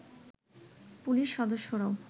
police সদস্যরাও